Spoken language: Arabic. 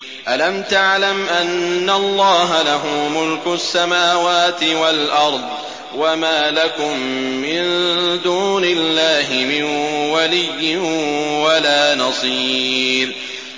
أَلَمْ تَعْلَمْ أَنَّ اللَّهَ لَهُ مُلْكُ السَّمَاوَاتِ وَالْأَرْضِ ۗ وَمَا لَكُم مِّن دُونِ اللَّهِ مِن وَلِيٍّ وَلَا نَصِيرٍ